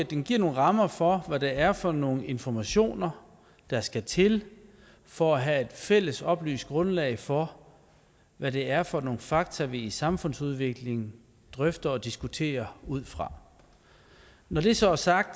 det giver nogle rammer for hvad det er for nogle informationer der skal til for at have et fælles oplyst grundlag for hvad det er for nogle fakta vi i samfundsudviklingen drøfter og diskuterer ud fra når det så er sagt